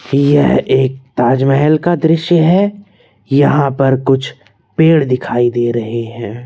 यह एक ताजमहल का दृश्य है यहां पर कुछ पेड़ दिखाई दे रहे हैं।